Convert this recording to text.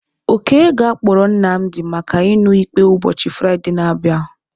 Oke ga-akpọrọ Nnamdi maka iṅụ ikpe ụbọchị Fraịde na-abịa.